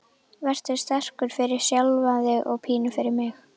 Vertu sterkur, fyrir sjálfan þig og pínu fyrir mig.